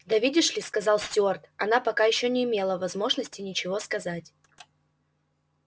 да видишь ли сказал стюарт она пока ещё не имела возможности ничего сказать